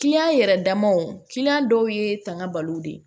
yɛrɛ damaw dɔw ye tanga balo de ye